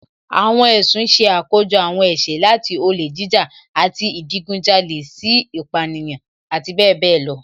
Àwọn ẹ̀sùn ṣe àkójọ àwọn ẹ̀ṣẹ̀, láti olè jíjà àti ìdigunjalè sí ìpánìyàn, àti bẹẹ bẹẹ lọ